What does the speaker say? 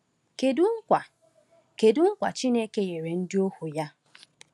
Kedu nkwa Kedu nkwa Chineke nyere ndị ohu ya?